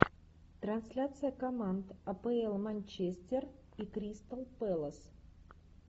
трансляция команд апл манчестер и кристал пэлас